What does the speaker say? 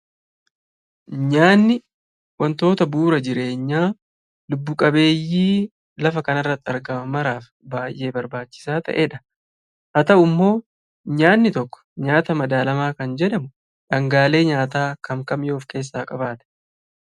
Nyaatni wantoota bu'uura jireenyaa lubbu qabeeyyii lafa kanarratti argaman maraaf baay'ee barbaachisaa ta'edha. Haa ta'ummoo nyaatni tokko nyaata madaalamaa kan jedhamu dhangaalee nyaataa kam kam yoo of keessaa qabaatedha?